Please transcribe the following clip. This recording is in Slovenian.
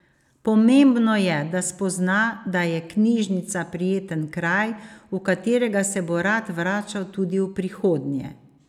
Pomembno je, da spozna, da je knjižnica prijeten kraj, v katerega se bo rad vračal tudi v prihodnje.